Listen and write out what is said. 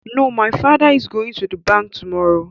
No, my father is going to the bank tomorrow